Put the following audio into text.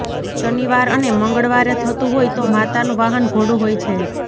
શનિવાર અને મંગળવારે થતું હોય તો માતાનું વાહન ઘોડો હોય છે